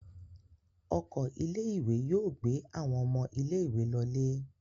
Ọkọ̀ ilé-ìwé yóò gbé àwọn ọmọ ilé-ìwé lọlé.